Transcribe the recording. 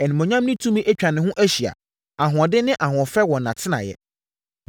Animuonyam ne tumi atwa ne ho ahyia, ahoɔden ne ahoɔfɛ wɔ nʼatenaeɛ.